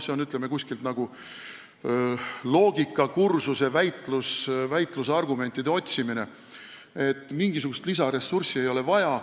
See on nagu väitlusargumentide otsimine loogikakursusel, et mingisugust lisaressurssi ei ole vaja.